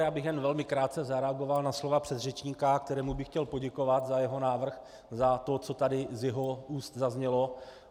Já bych jen velmi krátce zareagoval na slova předřečníka, kterému bych chtěl poděkovat za jeho návrh, za to, co tady z jeho úst zaznělo.